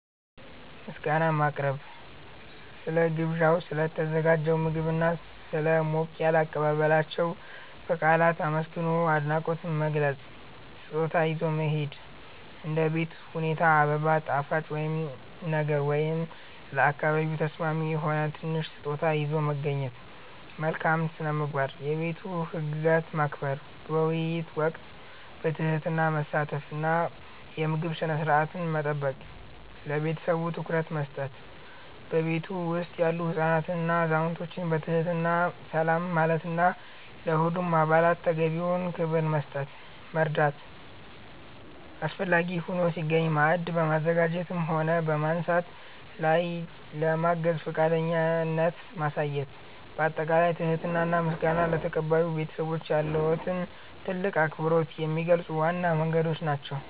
ምስጋና ማቅረብ፦ ስለ ግብዣው፣ ስለ ተዘጋጀው ምግብና ስለ ሞቅ ያለ አቀባበላቸው በቃላት አመስግኖ አድናቆትን መግለጽ። ስጦታ ይዞ መሄድ፦ እንደ ቤት ሁኔታ አበባ፣ ጣፋጭ ነገር ወይም ለአካባቢው ተስማሚ የሆነ ትንሽ ስጦታ ይዞ መገኘት። መልካም ስነ-ምግባር፦ የቤቱን ህግጋት ማክበር፣ በውይይት ወቅት በትህትና መሳተፍ እና የምግብ ስነ-ስርዓትን መጠበቅ። ለቤተሰቡ ትኩረት መስጠት፦ በቤቱ ውስጥ ያሉ ህፃናትንና አዛውንቶችን በትህትና ሰላም ማለትና ለሁሉም አባላት ተገቢውን ክብር መስጠት። መርዳት፦ አስፈላጊ ሆኖ ሲገኝ ማዕድ በማዘጋጀትም ሆነ በማንሳት ላይ ለማገዝ ፈቃደኝነትን ማሳየት። ባጠቃላይ ትህትና እና ምስጋና ለተቀባዩ ቤተሰብ ያለዎትን ትልቅ አክብሮት የሚገልጹ ዋና መንገዶች ናቸው።